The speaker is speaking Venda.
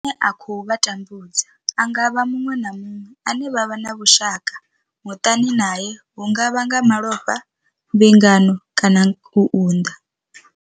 Muthu ane a khou vha tambudza a nga vha muṅwe na muṅwe ane vha vha na vhushaka, muṱani nae hu nga vha nga malofha, mbingano kana u unḓa.